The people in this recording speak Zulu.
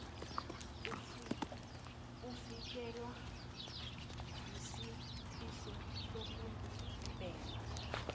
ufikelwa yisifiso sokubhema